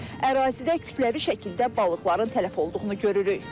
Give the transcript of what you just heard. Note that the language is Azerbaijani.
Ərazidə kütləvi şəkildə balıqların tələf olduğunu görürük.